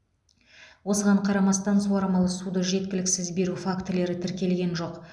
осыған қарамастан суармалы суды жеткіліксіз беру фактілері тіркелген жоқ